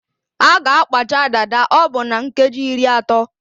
A ga-akpacha dada ọbụ na nkeji iri atọ